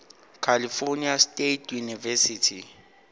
california state university